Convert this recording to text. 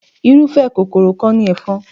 Irúfẹ́ kòkòrò kan ni ẹ̀fọn.